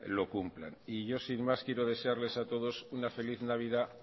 lo cumplan y yo sin más quiero desearles a todos una feliz navidad